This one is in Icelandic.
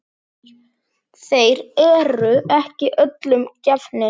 Þeir eru ekki öllum gefnir.